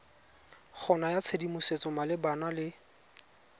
go naya tshedimosetso malebana le